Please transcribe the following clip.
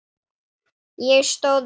Ég stóð upp.